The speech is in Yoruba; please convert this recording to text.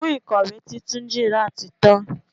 Ẹfun ìkọ̀wé tí Túnjí ra tí tan.